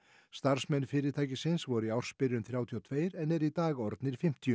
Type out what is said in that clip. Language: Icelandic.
starfsmenn fyrirtækisins voru í ársbyrjun þrjátíu og tvö en eru í dag orðnir fimmtíu